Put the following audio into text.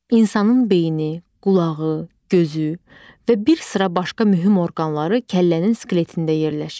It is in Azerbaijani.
İnsanın beyni, qulağı, gözü və bir sıra başqa mühüm orqanları kəllənin skeletində yerləşir.